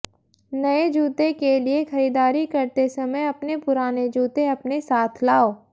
नए जूते के लिए खरीदारी करते समय अपने पुराने जूते अपने साथ लाओ